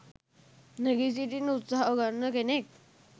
නැගී සිටින්න උත්සාහගන්න කෙනෙක්.